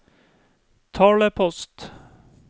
talepost